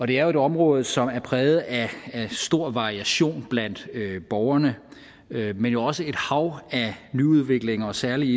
det er et område som er præget af stor variation blandt borgerne men jo også af et hav af nyudviklinger særlig